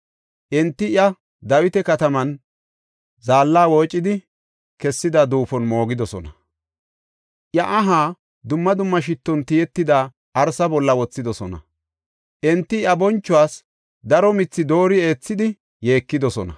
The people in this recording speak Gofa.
Enti iya Dawita kataman zaalla woocidi kessida duufon moogidosona. Iya aha dumma dumma shitton tiyetida arsa bolla wothidosona. Enti iya bonchuwas daro mithi doori eethidi yeekidosona.